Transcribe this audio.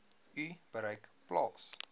u bereik plaas